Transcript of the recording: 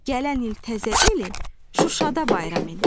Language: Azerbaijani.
Gələn il təzə eli Şuşada bayram edək.